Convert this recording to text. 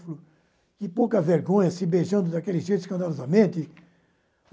Falei, que pouca vergonha, se beijando daquele jeito escandalosamente.